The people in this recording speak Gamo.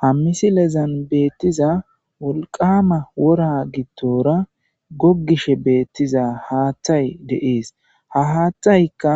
Ha missilezan betiza woliqama wora gidora gogishe betiza hathay de'es ha hatayka